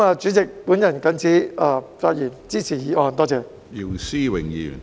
主席，我謹此發言，支持議案，多謝。